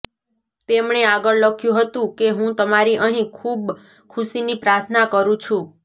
તેમણે આગળ લખ્યું હતું કે હું તમારી અહીં ખૂબ ખુશીની પ્રાર્થના કરું છું